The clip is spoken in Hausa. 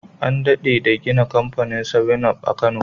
An dade da gina kamfanin seven-up a kano